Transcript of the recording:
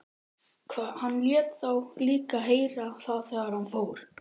Hann lét þá líka heyra það þegar hann fór.